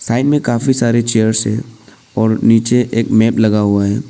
Side में काफी सारे चेयर्स हैं और नीचे मेट लगा हुआ हैं।